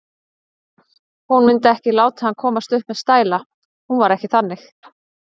Hún mundi ekki láta hann komast upp með stæla, hún var ekki þannig.